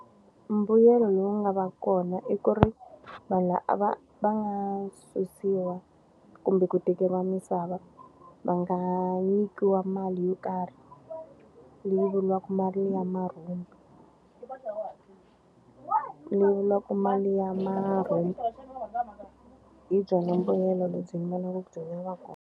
Mbuyelo lowu nga va kona i ku ri, vanhu va nga susiwa kumbe ku tekeriwa misava va nga nyikiwa mali yo karhi, leyi vuriwaka mali liya marhumbi. leyi vuriwaka mali liya marhumbi. Hi byona mbuyelo lebyi ndzi vonaka byi ri na nkoka.